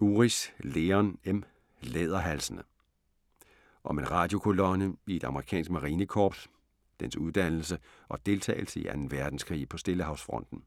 Uris, Leon M.: Læderhalsene Om en radiokolonne i et amerikansk marinekorps, dens uddannelse og deltagelse i 2. verdenskrig på Stillehavsfronten.